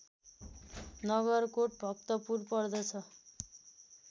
नगरकोट भक्तपुर पर्दछ